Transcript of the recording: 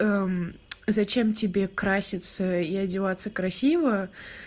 зачем тебе краситься и одеваться красиво